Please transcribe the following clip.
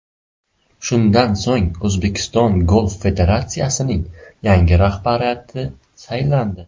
Shundan so‘ng, O‘zbekiston Golf federatsiyasining yangi rahbariyati saylandi.